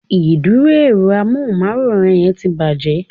Ìdúró èro amóhùnmáwòrán yẹn ti bàjé